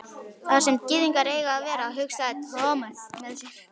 Þar sem gyðingar eiga að vera, hugsaði Thomas með sér.